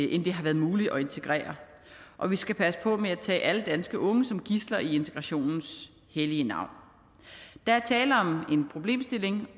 end det har været muligt at integrere og vi skal passe på med at tage alle danske unge som gidsler i integrationens hellige navn der er tale om en problemstilling